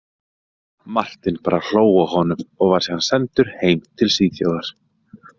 Martin bara hló að honum, og var síðan sendur heim til Svíþjóðar.